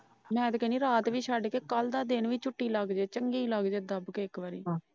ਮੈ ਤਾਂ ਕਹਿਣੀ ਰਾਤ ਵੀ ਛੱਡ ਕੇ ਕੱਲ ਦਾ ਦਿਨ ਵੀ ਝੁੱਟੀ ਲੱਗ ਜੇ ਚੰਗੀ ਲੱਗ ਜੇ ਦੱਬ ਕੇ ਇੱਕ ਵਾਰੀ।